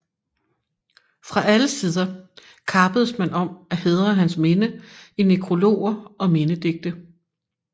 Fra alle sider kappedes man om at hædre hans minde i nekrologer og mindedigte